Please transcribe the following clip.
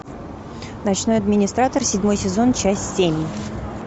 ночной администратор седьмой сезон часть семь